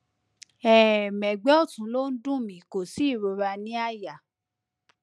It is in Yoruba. um ẹgbẹ ọtún ló ń dùn mí kò sí ìrora ní àyà